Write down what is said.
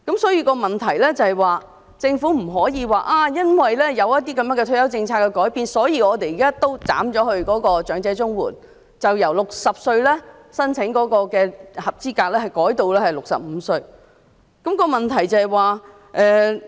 所以，政府不能說因為退休政策的改變，所以現時對長者綜援採取"一刀切"的做法，將合資格申請者年齡由60歲改為65歲。